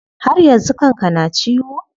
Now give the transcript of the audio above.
Har yanzu kan ka na ciwo?